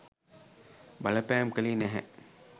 බලපෑම් කළේ නැහැ.